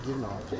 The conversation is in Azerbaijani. Girmə, girmə.